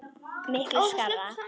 Miklu skárra.